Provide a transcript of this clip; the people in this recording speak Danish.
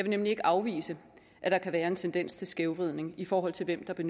nemlig ikke afvise at der kan være en tendens til skævvridning i forhold til hvem der